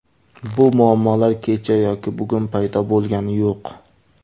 Bu muammolar kecha yoki bugun paydo bo‘lgani yo‘q.